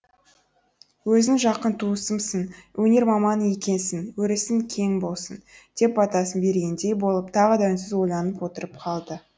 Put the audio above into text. өзің жақын туысымсың өнер маманы екенсің өрісің кең болсын деп батасын бергендей болып тағы да үнсіз ойланып отырып қалды